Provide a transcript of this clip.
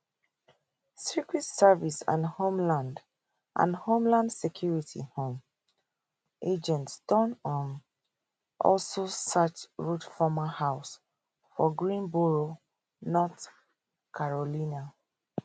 secret service and homeland and homeland security um agents don um also search routh former house for greensboro north carolina